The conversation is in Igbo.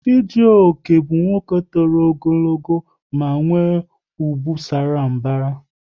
Chijioke bụ nwoke tọrọ ogologo ma nwe ubu sara mbara